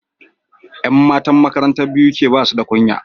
Yan matan makarantar BUK basuda kunya